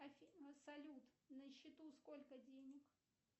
афина салют на счету сколько денег